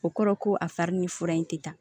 O kɔrɔ ko a fari ni fura in tɛ ta